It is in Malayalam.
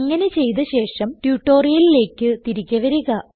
അങ്ങനെ ചെയ്ത ശേഷം ട്യൂട്ടോറിയലിലേക്ക് തിരികെ വരിക